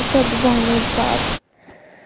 часа два назад